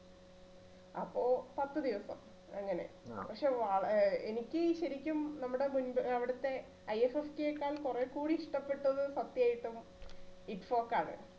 അപ്പോ പത്ത് ദിവസം അങ്ങനെ പക്ഷേ എനിക്ക് ശരിക്കും നമ്മുടെ മുൻപ് അവിടുത്ത IFFC യെക്കാൾ കുറെ കൂടി ഇഷ്ടപ്പെട്ടത് സത്യായിട്ടും ആണ്.